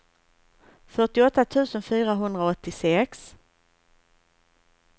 fyrtioåtta tusen fyrahundraåttiosex